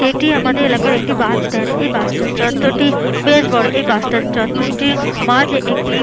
এটি আমাদের এলাকার একটি বাস স্ট্যান্ড । এই বাস স্ট্যান্ড চত্বরটি বেশ বড় ।এই বাস স্ট্যান্ড চত্বরটির মাঝ একটি --